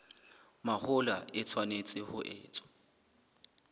mahola e tshwanetse ho etswa